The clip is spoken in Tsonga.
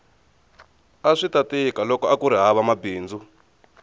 aswita tika loko akuri hava mabindzu